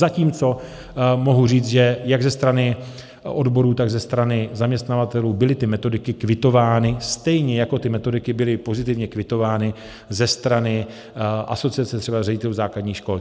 Zatímco mohu říct, že jak ze strany odborů, tak ze strany zaměstnavatelů byly ty metodiky kvitovány, stejně jako ty metodiky byly pozitivně kvitovány ze strany asociace třeba ředitelů základních škol.